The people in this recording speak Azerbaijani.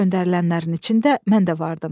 Göndərilənlərin içində mən də vardım.